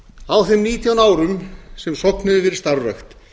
á þeim nítján árum sem sogn hefur verið starfrækt